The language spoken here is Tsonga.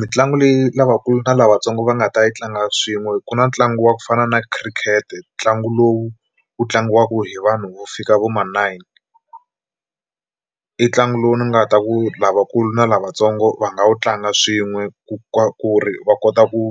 Mitlangu leyi lavakulu na lavatsongo va nga ta yi tlanga swin'we ku na ntlangu wa ku fana na khirikete ntlangu lowu wu tlangiwaka hi vanhu vo fika vo ma nine, i ntlangu lowu ni nga ta ku lavakulu na lavatsongo va nga wu tlanga swin'we ku ku ri va kota ku